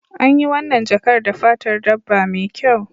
An yi wannan jakar da fatar dabba mai kyau